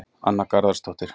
Anna Garðarsdóttir